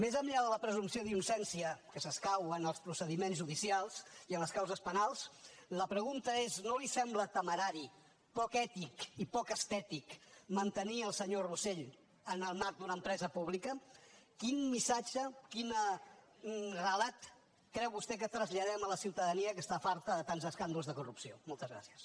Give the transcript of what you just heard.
més enllà de la presumpció d’innocència que s’escau en els procediments judicials i en les causes penals la pregunta és no li sembla temerari poc ètic i poc estètic mantenir el senyor rosell en el marc d’una empresa pública quin missatge quin relat creu vostè que traslladem a la ciutadania que està farta de tants escàndols de corrupció moltes gràcies